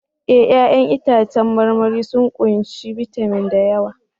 Eh! 'Ya'yan itãcen marmari sun ƙunshi bitamin da yawa